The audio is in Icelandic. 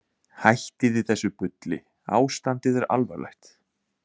Hættiði þessu bulli, ástandið er alvarlegt.